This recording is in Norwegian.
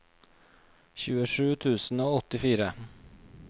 tjuesju tusen og åttifire